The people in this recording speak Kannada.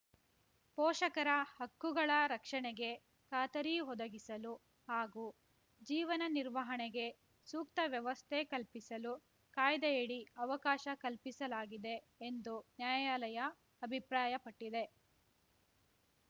ಪೋಷಕರ ಹಕ್ಕುಗಳ ರಕ್ಷಣೆಗೆ ಖಾತರಿ ಒದಗಿಸಲು ಹಾಗೂ ಜೀವನ ನಿರ್ವಹಣೆಗೆ ಸೂಕ್ತ ವ್ಯವಸ್ಥೆ ಕಲ್ಪಿಸಲು ಕಾಯ್ದೆಯಡಿ ಅವಕಾಶ ಕಲ್ಪಿಸಲಾಗಿದೆ ಎಂದು ನ್ಯಾಯಾಲಯ ಅಭಿಪ್ರಾಯಪಟ್ಟಿದೆ